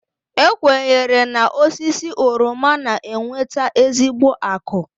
E kwenyere na osisi oroma na-eweta ezigbo akụ.